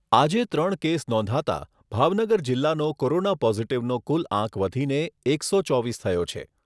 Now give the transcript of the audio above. આજે ત્રણ કેસ નોંધાતા ભાવનગર જિલ્લાનો કોરોના પોઝિટિવનો કુલ આંક વધીને એકસો ચોવીસ થયો છે.